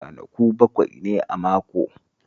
Ranaku bakwai ne a mako